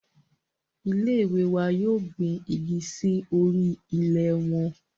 Ile-iwe wa yoo gbin igi si ori ilẹ wọn